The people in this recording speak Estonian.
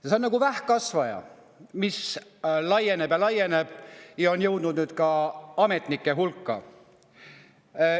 See on nagu vähkkasvaja, mis laieneb ja laieneb ja on jõudnud ka ametnike hulka.